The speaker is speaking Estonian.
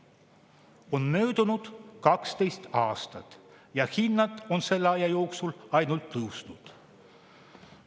On möödunud 12 aastat ja hinnad on selle aja jooksul ainult tõusnud.